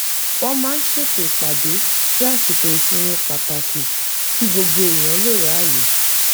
wọ́n máa ń ṣètò ìpàdé sí àsìkò ìsinmi pàtàkì kí gbogbo èèyàn lè ráyè